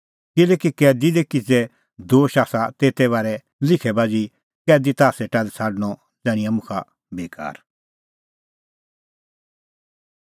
किल्हैकि कैदी दी किज़ै दोश आसा तेते बारै लिखै बाझ़ी कैदी ताह सेटा लै छ़ाडणअ ज़ाण्हिंआं मुखा बेकार